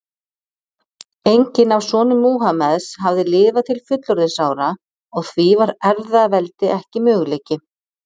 Enginn af sonum Múhameðs hafði lifað til fullorðinsára og því var erfðaveldi ekki möguleiki.